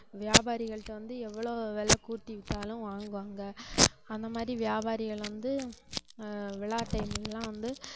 வியாபாரிகள்ட்ட வந்து எவ்வளவு விலை கூட்டி வித்தாலும் வாங்குவாங்க அந்த மாதிரி வியாபாரிகள் வந்து ஆஹ் விழா time ல எல்லாம் வந்து